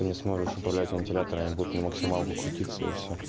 не сможешь управлять вентиляторами будет на максималку крутится и всё